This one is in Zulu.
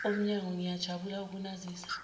omnyango ngiyajabula ukunazisa